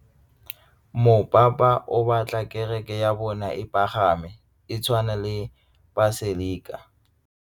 Mopapa o batla kereke ya bone e pagame, e tshwane le paselika.